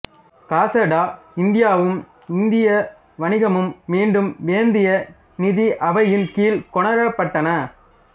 காசா ட இந்தியாவும் இந்திய வணிகமும் மீண்டும் வேந்திய நிதி அவையின் கீழ் கொணரப்பட்டன